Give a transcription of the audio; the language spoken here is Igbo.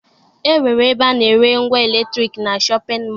E nwere ebe a na-ere ngwa eletriki na shọpịn mọọ